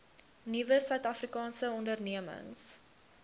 nuwe suidafrikaanse ondernemings